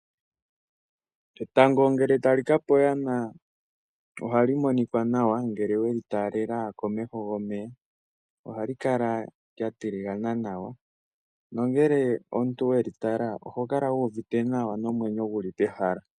Etango ngele ta li kapa oyana, ohali monika nawa ngele we li talela komeho gomeya. Ohali kala lyatiligana nawa, nongele omuntu weli tala oho kala wu uvite nawa nomwenyo guli pehala.